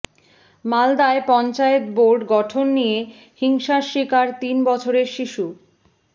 মালদায় পঞ্চায়েত বোর্ড গঠন নিয়ে হিংসার শিকার তিন বছরের শিশু